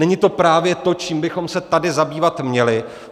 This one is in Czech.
Není to právě to, čím bychom se tady zabývat měli?